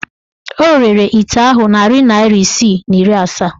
O rere ite ahụ narị naịra isii na iri asaa.